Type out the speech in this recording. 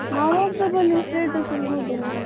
ನಾನು Whatsapp ಲಿ status ಎಲ್ಲ ನೋಡ್ತೆನೆ.